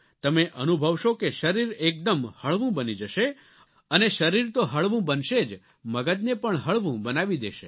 તમે અનુભવશો કે શરીર એકદમ હળવું બની જશે અને શરીર તો હળવું બનશે જ મગજને પણ હળવું બનાવી દેશે